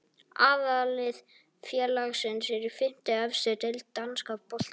Aðallið félagsins er í fimmtu efstu deild danska boltans.